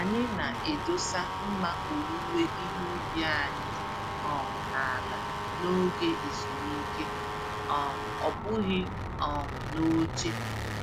Anyị na-edosa mma owuwe ihe ubi anyị um n'ala n'oge ezumike - um ọ bụghị um n'oche.